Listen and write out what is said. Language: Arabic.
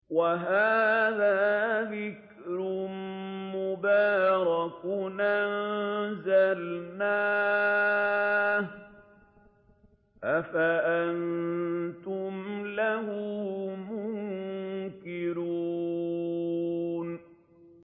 وَهَٰذَا ذِكْرٌ مُّبَارَكٌ أَنزَلْنَاهُ ۚ أَفَأَنتُمْ لَهُ مُنكِرُونَ